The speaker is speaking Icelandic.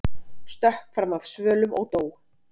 Stökk fram af svölum og dó